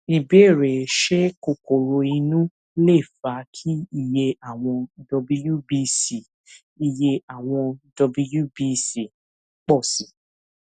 ìbéèrè ṣé kokoro inú lè fa kí iye àwọn wbc iye àwọn wbc pọ sí i